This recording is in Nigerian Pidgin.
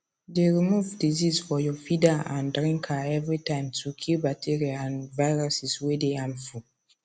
dey remove disease for your feeder and drinka every time to kill bacteria and viruses way dey harmful